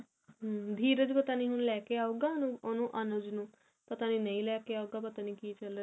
ਹਮ ਧੀਰਜ ਪਤਾ ਨ੍ਣੀ ਹੁਣ ਲੈਕੇ ਆਉੰਗਾ ਉਹਨੂੰ ਅਨੁਜ ਨੂੰ ਪਤਾ ਨੀ ਨਹੀ ਲੈਕੇ ਆਉਗਾ ਪਤਾਨੀ ਕੀ ਚੱਲ ਰਿਹਾ